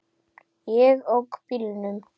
Ég ók bílnum.